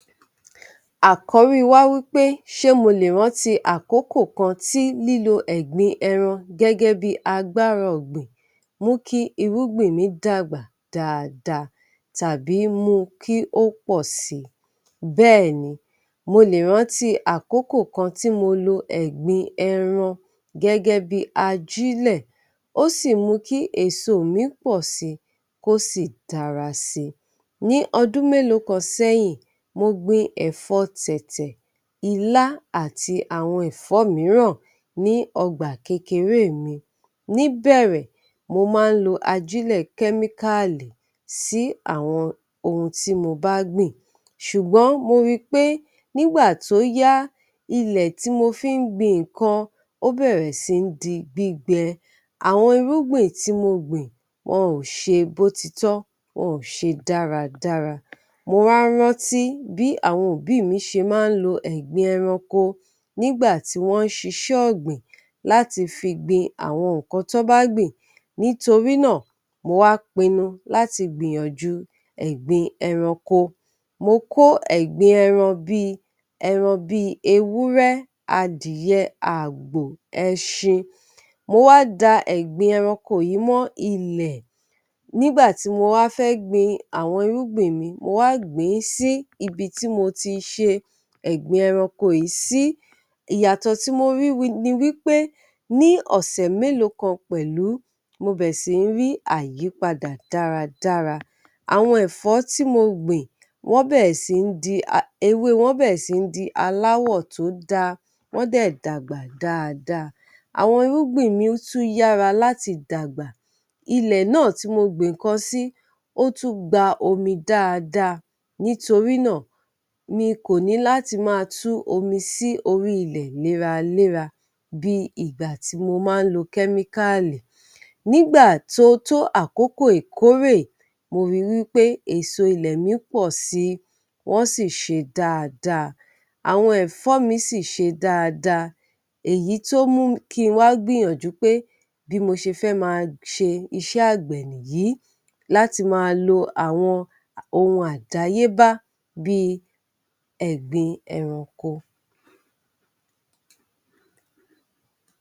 Àkọ́rí wa wí pé ṣe mo lè rántí àkókò kan tí lílo ẹ̀gbin ẹran gẹ́gẹ́ bí agbára ọ̀gbìn mú kí irúgbìn mi dàgbà dáadáa tàbí mú un kí ó pọ̀ si. Bẹ́ẹ̀ni, mo lè rántí àkókò kan tí mo lo ẹ̀gbin ẹran gẹ́gẹ́ bí ajílẹ̀, ó sì mú kí èso mi pọ̀ si, kó sì dára si. Ní ọdún mélòó kan sẹ́yìn, mo gbin ẹ̀fọ́ Tẹ̀tẹ̀, Ilá àti àwọn ẹ̀fó mìíràn ní ọgbà kékeré mi. Níbẹ̀rẹ̀, mo máa ń lo ajílẹ̀ kẹ́míkáàlì sí àwọn ohun tí mo bá gbìn, ṣùgbọ́n mo ri pé nígbà tó yá, ilẹ̀ tí mo fi ń gbin nǹkan, ó bẹ̀rẹ̀ sí ń di gbígbe. Àwọn irúgbìn tí mo gbìn, wọn ò ṣe bó ti tọ́, wọn ò ṣe dáradára. Mo wá rántí bí àwọn òbí mi ṣe máa ń lo ẹ̀gbin ẹranko nígbà tí wọ́n ń ṣiṣẹ́ ọ̀gbìn, láti fi gbin àwọn nǹkan tọ́ bá gbìn. Nítori náà, mo wá pinnu láti gbìyànjú ẹ̀gbin ẹranko. Mo kó ẹ̀gbin ẹran bí i, ẹran bí i ewúrẹ́, adìyẹ, àgbò, ẹṣin. Mo wá da ẹ̀gbin ẹranko yìí mọ́ ilẹ̀. Nígbà tí mo wá fẹ́ gbin àwọn irúgbìn mi, mo wá gbìn-ín sí ibi tí mo ti ṣe ẹ̀gbin ẹranko yìí sí. Ìyàtọ̀ tí mo rí ni wí pé ní ọ̀sẹ̀ mélòó kan pẹ̀lú, mo bẹ̀rẹ̀ sí ń rí àyípadà dáradára. Àwọn ẹ̀fọ́ tí mo gbìn, wọ́n bẹ̀rẹ̀ sí ń di, ewé wọn bẹ̀rẹ̀ sí ń di aláwọ̀ tó dáa, wọ́n dẹ̀ dàgbà dáadáa. Àwọn irúgbìn mi tún yára láti dàgbà, ilẹ̀ náà tí mo gbin nǹkan sí, ó tún gba omi dáadáa. Nítorí náà, mi kò níláti máa tú omi sí orí ilẹ̀ léraléra bí i ìgbà tí mo máa ń lo kẹ́míkáàlì. Nígbà tó tó àkókò ìkórè, mo ri wí pé èso ilẹ̀ mi pọ̀ sí i, wọ́n sì ṣe dáadáa. Àwọn ẹ̀fọ́ mi sì ṣe dáadáa, èyí tó mú kí n wá gbìyànjú pé bí mo ṣe fẹ́ máa ṣe iṣẹ́ àgbẹ̀ nìyí láti máa lo àwọn ohun àdáyébá bí i ẹ̀gbin ẹranko.